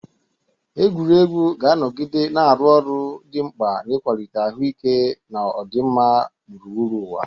Egwuregwu ga-anọgide na-arụ ọrụ dị mkpa n'ịkwalite ahụike na ọdịmma gburugburu ụwa.